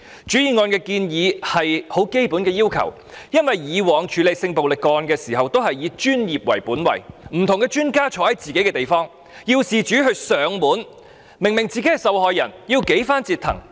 原議案的建議是很基本的要求，因為以往處理性暴力個案時均以專業為本位，不同專家留駐於自己的地方，要事主上門求助，明明是受害人卻要被多番折騰。